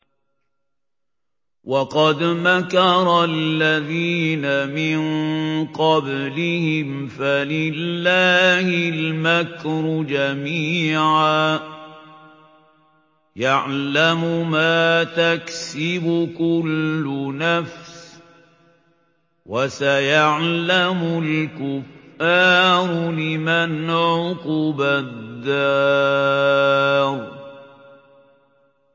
وَقَدْ مَكَرَ الَّذِينَ مِن قَبْلِهِمْ فَلِلَّهِ الْمَكْرُ جَمِيعًا ۖ يَعْلَمُ مَا تَكْسِبُ كُلُّ نَفْسٍ ۗ وَسَيَعْلَمُ الْكُفَّارُ لِمَنْ عُقْبَى الدَّارِ